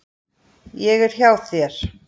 Ég er hjá þér.